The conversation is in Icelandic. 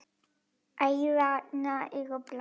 Æðarnar eru bláar.